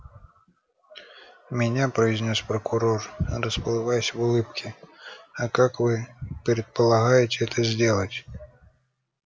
меня произнёс прокурор расплываясь в улыбке а как вы предполагаете это сделать